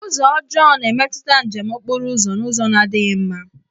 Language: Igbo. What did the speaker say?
Ụzọ ọjọọ na-emetụta njem okporo ụzọ n'ụzọ na-adịghị mma.